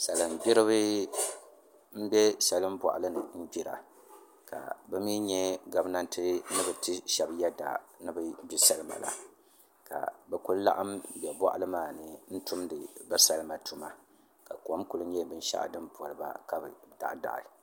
Salin gbiribi n bɛ salin boɣali ni n gbira ka bi mii nyɛ gabnanti ni bi ti shab yɛda ni bi gbi salima maa ka bi ku laɣam bɛ boɣali maa ni n tumdi bi salima tuma ka kom ku nyɛ binshaɣu din poliba ka bi daɣi daɣi